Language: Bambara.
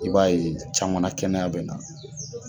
I b'a ye caman na kɛnɛya bɛ na.